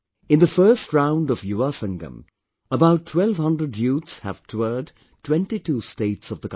In the first round of Yuvasangam, about 1200 youths have toured 22 states of the country